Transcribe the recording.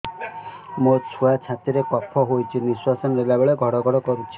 ମୋ ଛୁଆ ଛାତି ରେ କଫ ହୋଇଛି ନିଶ୍ୱାସ ନେଲା ବେଳେ ଘଡ ଘଡ କରୁଛି